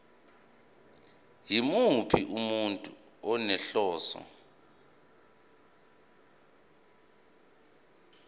yimuphi umuntu onenhloso